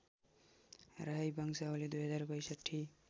राई वंशावली २०६२